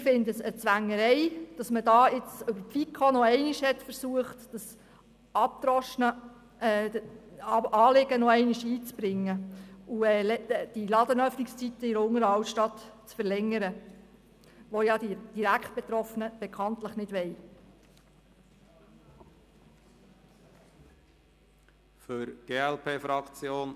Wir empfinden es als Zwängerei, dass man nun über die FiKo noch einmal versucht, das abgedroschene Anliegen wieder einzubringen und die Ladenöffnungszeiten in der Unteren Altstadt zu verlängern, was die Direktbetroffenen bekanntlich nicht wollen.